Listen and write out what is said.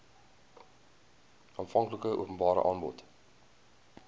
aanvanklike openbare aanbod